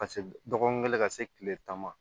Ka se dɔgɔkun kelen ka se kile tan ma